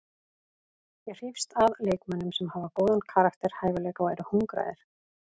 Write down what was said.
Ég hrífst að leikmönnum sem hafa góðan karakter, hæfileika og eru hungraðir.